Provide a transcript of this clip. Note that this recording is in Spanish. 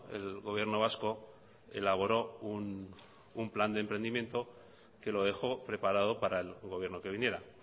el gobierno vasco elaboró un plan de emprendimiento que lo dejó preparado para el gobierno que viniera